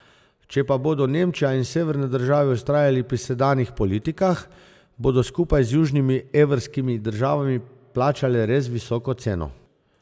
Če pa bodo Nemčija in severne države vztrajale pri sedanjih politikah, bodo skupaj z južnimi evrskimi državami plačale res visoko ceno.